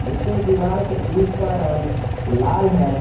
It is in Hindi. उसके दीवाल के ईट्ट का रंग लाल है।